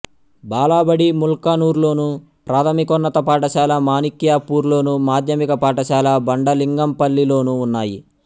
బాలబడి ముల్కనూర్లోను ప్రాథమికోన్నత పాఠశాల మాణిక్యాపూర్లోను మాధ్యమిక పాఠశాల బండలింగంపల్లిలోనూ ఉన్నాయి